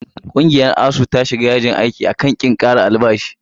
Ƙungiyar ASUU ta shiga yajin aiki a kan ƙin ƙara albashi.